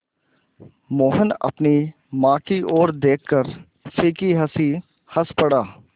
मोहन अपनी माँ की ओर देखकर फीकी हँसी हँस पड़ा